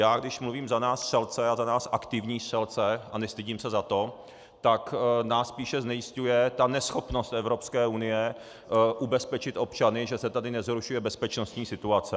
Já když mluvím za nás střelce a za nás aktivní střelce, a nestydím se za to, tak nás spíše znejisťuje ta neschopnost Evropské unie ubezpečit občany, že se tady nezhoršuje bezpečnostní situace.